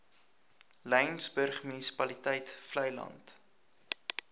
laingsburg munisipaliteit vleiland